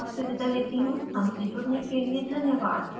यह स्क्रिप्ट श्रुति आर्य द्वारा अनुवादित है मैं जया आपसे विदा लेती हूँ